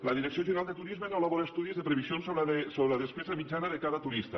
la direcció general de turisme no elabora estudis de previsions sobre la despesa mitjana de cada turista